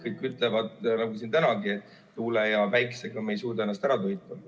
Kõik ütlevad, nagu siin tänagi, et tuule ja päiksega me ei suuda ennast ära toita.